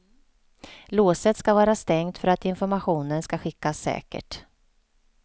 Låset skall vara stängt för att informationen ska skickas säkert.